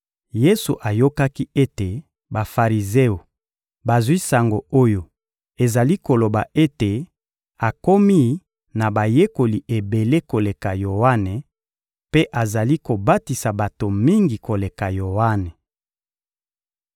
Yesu ayokaki ete Bafarizeo bazwi sango oyo ezali koloba ete akomi na bayekoli ebele koleka Yoane mpe azali kobatisa bato mingi koleka Yoane.